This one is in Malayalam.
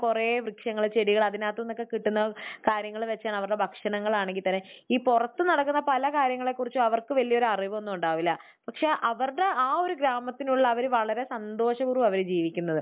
കുറേ വൃക്ഷങ്ങൾ ചെടികൾ അതിനകത്തു നിന്ന് ഒക്കെ കിട്ടുന്ന കാര്യങ്ങൾ വെച്ചാണ് അവരുടെ ഭക്ഷണങ്ങളാണെങ്കിൽ തന്നെ. ഈ പുറത്ത് നടക്കുന്ന പല കാര്യങ്ങളെക്കുറിച്ചും അവർക്ക് വലിയൊരു അറിവൊന്നും ഉണ്ടാകില്ല. പക്ഷെ അവരുടെ ആ ഒരു ഗ്രാമത്തിലുള്ള അവർ വളരെ സന്തോഷപൂർവ്വമാണ് അവർ ജീവിക്കുന്നത്.